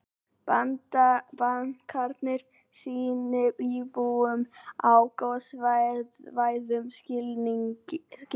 Bankarnir sýni íbúum á gossvæðum skilning